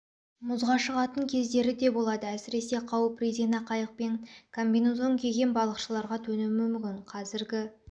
мұзға шығатын кездері де болады әсіресе қауіп резина қайықпен комбинезон киген балықшыларға төнуі мүмкін қәзіргі